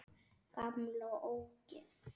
Gamla ógeð!